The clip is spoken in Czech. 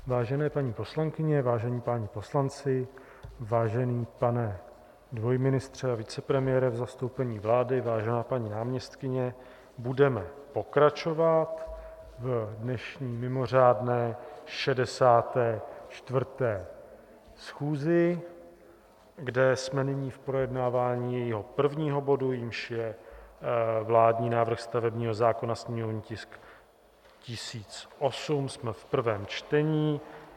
Vážené paní poslankyně, vážení páni poslanci, vážený pane dvojministře a vicepremiére v zastoupení vlády, vážená paní náměstkyně, budeme pokračovat v dnešní mimořádné 64. schůzi, kde jsme nyní v projednávání jejího prvního bodu, jímž je vládní návrh stavebního zákona, sněmovní tisk 1008, jsme v prvém čtení.